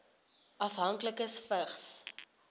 afhanklikes vigs